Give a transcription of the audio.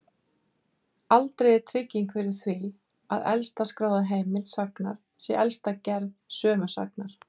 Aldrei er trygging fyrir því að elsta skráða heimild sagnar sé elsta gerð sömu sagnar.